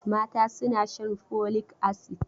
Mata suna shan folic acid.